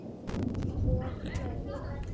Og hlógu.